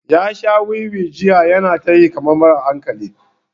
Ya sha wiwi jiya yana ta yi kamar mara hankali.